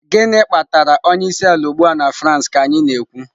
Gịnị kpatara onye isi ala ugbu a na France ka anyị na-ekwu?